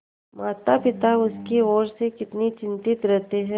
मातापिता उसकी ओर से कितने चिंतित रहते हैं